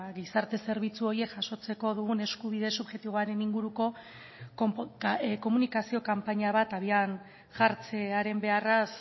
gizarte zerbitzu horiek jasotzeko dugun eskubide subjektiboaren inguruko komunikazio kanpaina bat abian jartzearen beharraz